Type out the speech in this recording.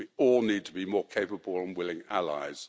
We all need to be more capable and willing allies.